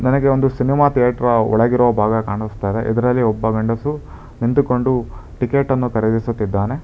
ನನಗೆ ಒಂದು cinema theatre ಒಳಗಿರೋ ಭಾಗ ಕಾಣುಸ್ತಾ ಇದೆ ಇದರಲ್ಲಿ ಒಬ್ಬ ಗಂಡಸು ನಿಂತುಕೊಂಡು ಟಿಕೆಟ್ ಅನ್ನು ಖರೀದಿಸುತ್ತಿದ್ದಾನೆ.